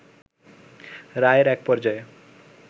রায়ের এক পর্যায়ে